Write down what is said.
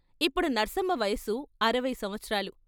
ఇప్పుడు నర్సమ్మ వయసు అరవై సంవత్సరాలు.